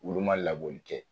Olu ma labɔli kɛ